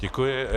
Děkuji.